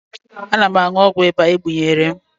Ana m aṅụ ọgwụ ịba e gbunyere m